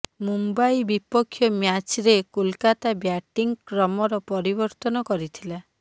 ମୁମ୍ବାଇ ବିପକ୍ଷ ମ୍ୟାଚ୍ରେ କୋଲକାତା ବ୍ୟାଟିଂ କ୍ରମରେ ପରିବର୍ତ୍ତନ କରିଥିଲା